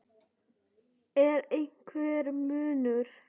Er einhver munur?